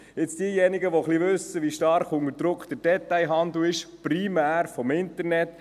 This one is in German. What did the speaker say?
Diejenigen, die ein bisschen wissen, wie stark der Detailhandel unter Druck ist, primär durch das Internet: